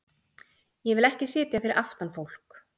Ég vil ekki sitja fyrir aftan fólk.